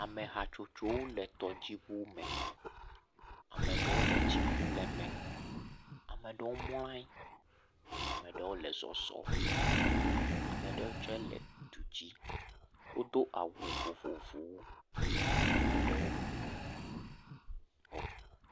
Ame hatsotsowo le tɔdziŋu me. Ame aɖewo le tsi ƒum le eme. Ame aɖewo mlɔ ayi, ame aɖewo le zɔzɔm, ame aɖewo tse le du dzi. Wodo awu vovovowo. Ame aɖewo xɔ.